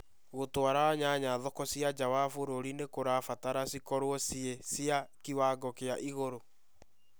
Gũtwara nyanya thoko cia nja wa bũrũri nĩ kurabatara cikorwo ciĩ cia kĩwango kĩa ĩguru